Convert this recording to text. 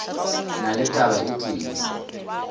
na le taba e tee